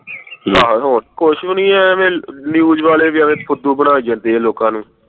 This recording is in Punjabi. ਆਹੋ ਕੁਛ ਵੀ ਨਹੀਂ ਐਵੇਂ news ਵਾਲੇ ਵੀ ਐਵੇਂ ਫੁੱਦੂ ਬਣਾਈ ਜਾਂਦੇ ਏ ਲੋਕਾਂ ਨੂੰ